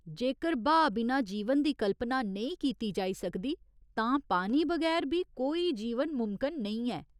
जेकर ब्हा बिना जीवन दी कल्पना नेईं कीती जाई सकदी तां पानी बगैर बी कोई जीवन मुमकिन नेईं ऐ।